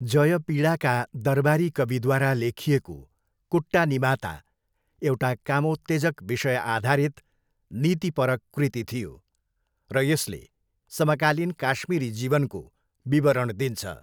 जयपिडाका दरबारी कविद्वारा लेखिएको कुट्टानिमाता एउटा कामोत्तेजक विषयआधारित नीतिपरक कृति थियो र यसले समकालीन काश्मिरी जीवनको विवरण दिन्छ।